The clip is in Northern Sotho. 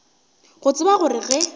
go tseba gore ge a